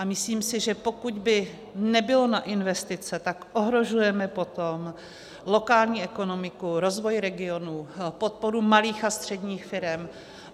A myslím si, že pokud by nebylo na investice, tak ohrožujeme potom lokální ekonomiku, rozvoj regionů, podporu malých a středních firem.